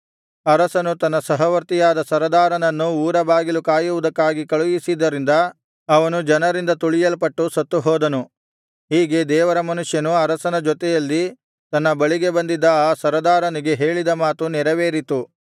ಅರಸನು ತನ್ನ ಸಹವರ್ತಿಯಾದ ಸರದಾರನನ್ನು ಊರಬಾಗಿಲು ಕಾಯುವುದಕ್ಕಾಗಿ ಕಳುಹಿಸಿದ್ದರಿಂದ ಅವನು ಜನರಿಂದ ತುಳಿಯಲ್ಪಟ್ಟು ಸತ್ತು ಹೋದನು ಹೀಗೆ ದೇವರ ಮನುಷ್ಯನು ಅರಸನ ಜೊತೆಯಲ್ಲಿ ತನ್ನ ಬಳಿಗೆ ಬಂದಿದ್ದ ಆ ಸರದಾರನಿಗೆ ಹೇಳಿದ ಮಾತು ನೆರವೇರಿತು